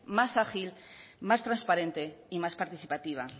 más ágil más transparente y más participativa